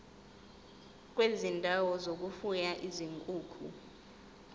kwezindawo zokufuya izinkukhu